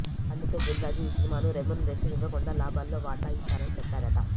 అందుకే దిల్ రాజు ఈ సినిమాను రెమ్యూనరేషన్ ఇవ్వకుండా లాభాల్లో వాటా ఇస్తానని చెప్పాడట